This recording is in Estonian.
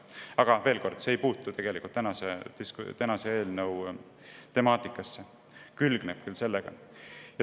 Aga veel kord, see ei puutu selle eelnõu temaatikasse, küll aga külgneb sellega.